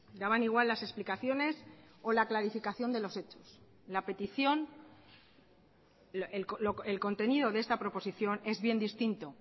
daban igual las explicaciones o la clarificación de los hechos la petición el contenido de esta proposición es bien distinto